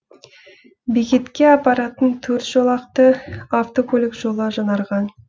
бекетке апаратын төрт жолақты автокөлік жолы жаңарған